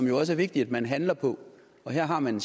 jo også er vigtigt man handler på og her har man